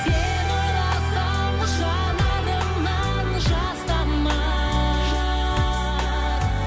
сені ойласам жанарымнан жас тамар